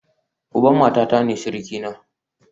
Uban matata ne surukina